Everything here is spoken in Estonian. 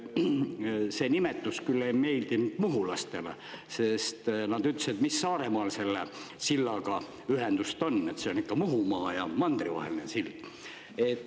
See nimetus küll ei meeldi muhulastele, sest nad ütlesid, et mis Saaremaal selle sillaga ühendust on, see on ikka Muhumaa ja mandri vaheline sild.